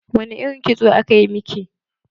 Wani irin kitso aka yi miki?